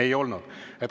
Ei olnud.